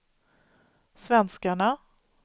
svenskarna